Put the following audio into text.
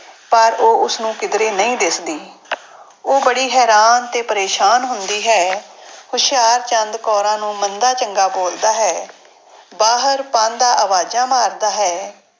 ਪਰ ਉਹ ਉਸਨੂੰ ਕਿੱਧਰੇ ਨਹੀਂ ਦਿਸਦੀ ਉਹ ਬੜੀ ਹੈਰਾਨ ਤੇ ਪਰੇਸਾਨ ਹੁੰਦੀ ਹੈ। ਹੁਸ਼ਿਆਰਚੰਦ ਕੌਰਾਂ ਨੂੰ ਮੰਦਾ ਚੰਗਾ ਬੋਲਦਾ ਹੈ। ਬਾਹਰ ਪਾਂਧਾ ਆਵਾਜ਼ਾਂ ਮਾਰਦਾ ਹੈ।